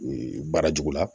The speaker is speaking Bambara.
Ee baara jugu la